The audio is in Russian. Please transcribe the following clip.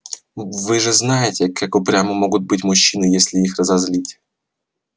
вы же знаете как упрямы могут быть мужчины если их разозлить